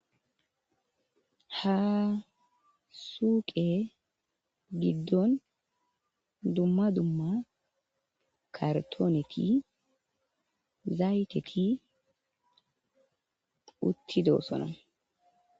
Ha suuqe giddon dumma dumma kartooneti zayteki uttidoossona.